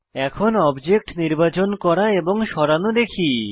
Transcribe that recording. এখন অবজেক্ট নির্বাচন করা এবং সরানো দেখি